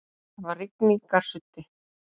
Það var rigningarsuddi.